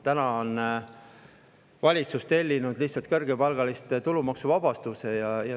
Täna on valitsus tellinud lihtsalt kõrgepalgaliste tulumaksu.